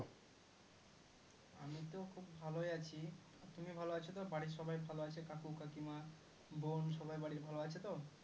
আমি তো খুব ভলোই আছি তুমি ভালো আছো তো বাড়ির সবাই ভালো আছে কাকু কাকিমা বোন সবাই বাড়ির ভালো আছে তো?